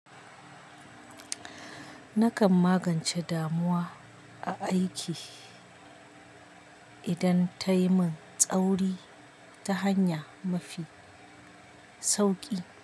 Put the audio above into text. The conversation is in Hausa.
Nakan magance damuwa a aiki idan tayi min tsauri ta hanya mafi sauki.